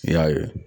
I y'a ye